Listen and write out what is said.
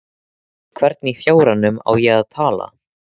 Við hvern í fjáranum á ég að tala?